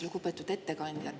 Lugupeetud ettekandja!